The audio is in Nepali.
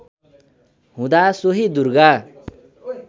हुँदा सोहि दुर्गा